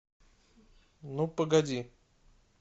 ну погоди